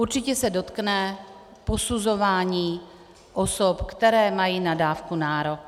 Určitě se dotkne posuzování osob, které mají na dávku nárok.